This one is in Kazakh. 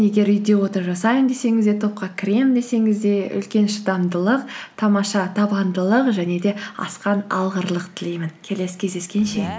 егер үйде отырып жасаймын десеңіз де топқа кіремін десеңіз де үлкен шыдамдылық тамаша табандылық және де асқан алғырлық тілеймін келесі кездескенше